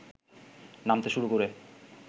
নামতে শুরু করে